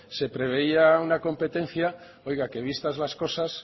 se preveía una competencia que oiga vistas las cosas